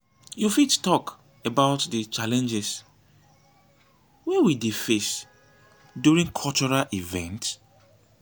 you fit talk about di challenges wey we dey face during cultural events?